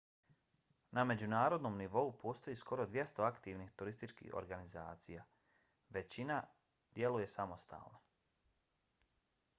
na međunarodnom nivou postoji skoro 200 aktivnih turističkih organizacija. većina djeluje samostalno